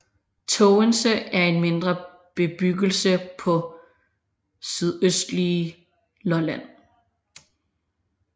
Tågense er en mindre bebyggelse på det sydøstlige Lolland